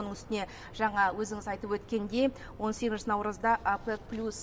оның үстіне жаңа өзіңіз айтып өткендей он сегізінші наурызда опек плюс